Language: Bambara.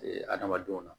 adamadenw na